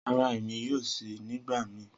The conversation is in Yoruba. Rara, Emi yoo ṣii nigbamii.